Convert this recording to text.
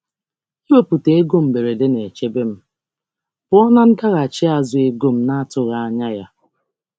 Ịtọpụ ego maka ihe mberede na-echebe m pụọ na um nsogbu ego na-atụghị anya ya.